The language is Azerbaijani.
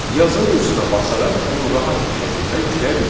Yazının üstünə basaraq onu rahat bir şəkildə yükləyə bilirik.